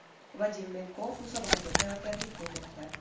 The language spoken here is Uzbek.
Vadim Menkov musobaqaga tayyorgarlik ko‘rmoqda.